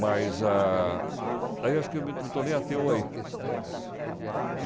Mas ah aí eu acho que me me tornei ateu aí.